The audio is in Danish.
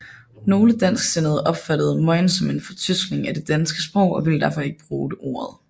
Nogle dansksindede opfattede mojn som en fortyskning af det danske sprog og ville derfor ikke bruge ordet